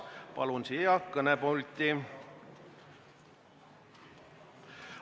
Palun teda siia kõnepulti!